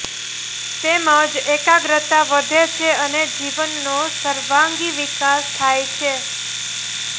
તેમજ એકાગ્રતા વધે છે અને જીવનનો સર્વાંગી વિકાસ થાય છે